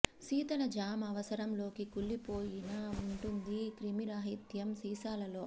శీతల జామ్ అవసరం లోకి కుళ్ళిపోయిన వుంటుంది క్రిమిరహితం సీసాలలో